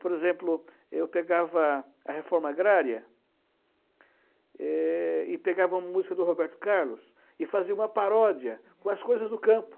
Por exemplo, eu pegava a Reforma Agrária é e pegava uma música do Roberto Carlos e fazia uma paródia com as coisas do campo.